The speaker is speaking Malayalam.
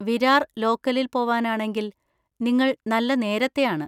വിരാർ ലോക്കലിൽ പോവാനാണെങ്കിൽ നിങ്ങൾ നല്ല നേരത്തെയാണ്.